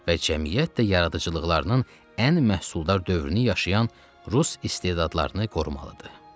Və cəmiyyət də yaradıcılıqlarının ən məhsuldar dövrünü yaşayan rus istedadlarını qorumalıdır.